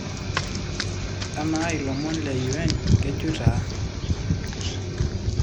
Amaa iilomon le Un kejoito aa?